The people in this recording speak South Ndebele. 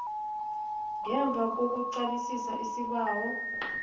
ngemva kokuqalisisa isibawo